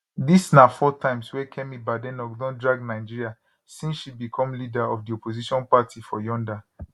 dis na four times wey kemi badenoch don drag nigeria since she become leader of di opposition party for yonda